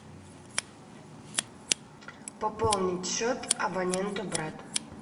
пополнить счет абонента брат